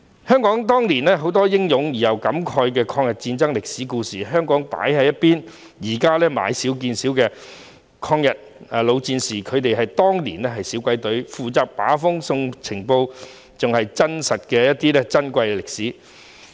香港當年有很多英勇又令人感慨的抗日戰爭歷史故事，被放在一旁，抗日老戰士現時已經買少見少，他們當年是小鬼隊，負責把風送情報，是真實而珍貴的歷史。